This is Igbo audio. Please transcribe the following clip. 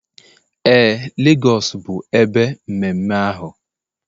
Ee, Lagos bụ ebe mmemme ahụ